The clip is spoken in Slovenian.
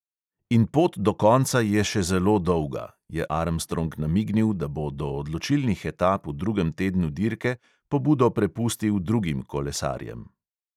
In pot do konca je še zelo dolga, je armstrong namignil, da bo do odločilnih etap v drugem tednu dirke pobudo prepustil drugim kolesarjem.